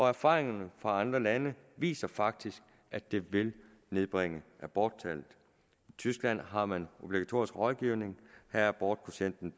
erfaringerne fra andre lande viser faktisk at det vil nedbringe aborttallet i tyskland har man obligatorisk rådgivning her er abortprocenten